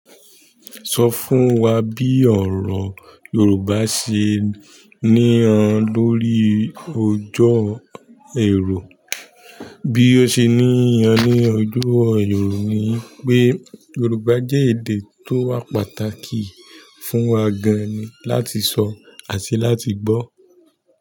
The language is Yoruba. Sọ fún wa bí ọ̀rọ̀ Yorùbá ṣe ní han lórí ọjọ́ ẹ̀rù. Bí ó ṣe ní yan ní ọjọ́ ẹ̀rù ni pé Yorùbá jẹ́ èdè tó wà pàtàkì fún wa gan-an ni láti sọ àti láti gbọ́.